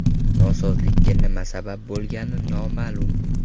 Nosozlikka nima sabab bo‘lgani noma’lum.